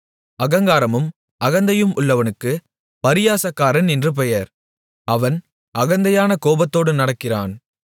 அகங்காரமும் அகந்தையும் உள்ளவனுக்குப் பரியாசக்காரன் என்று பெயர் அவன் அகந்தையான கோபத்தோடு நடக்கிறான்